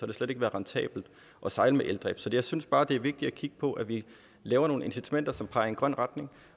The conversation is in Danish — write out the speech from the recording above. det slet ikke været rentabelt at sejle med eldrift så jeg synes bare det er vigtigt at kigge på at vi laver nogle incitamenter som peger i en grøn retning